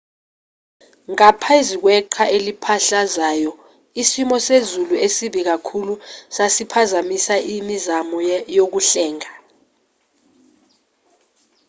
ngaphezu kweqhwa eliphahlazayo isimo sezulu esibi kakhulu sasiphazamisa imizamo yokuhlenga